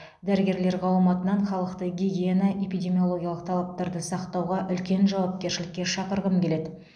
дәрігерлер қауымы атынан халықты гигиена эпидемиологиялық талаптарды сақтауда улкен жауапкершілікке шақырғым келеді